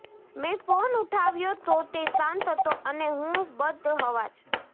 મેં ફોન ઉઠાવ્યો તો તે શાંત હતો અને હું બદહવાસ